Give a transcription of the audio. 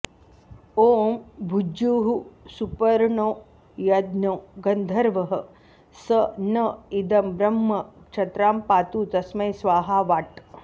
ॐ भुज्युः सुपर्णो यज्ञो गन्धर्वः स न इदं ब्रह्म क्षत्रां पातु तस्मै स्वाहा वाट्